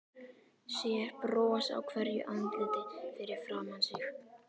Sér bros á hverju andliti fyrir framan sig.